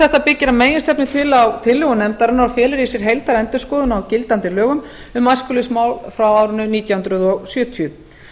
þetta byggist að meginstefnu til á tillögum nefndarinnar og felur í sér heildarendurskoðun á gildandi löggjöf um æskulýðsmál frá árinu nítján hundruð sjötíu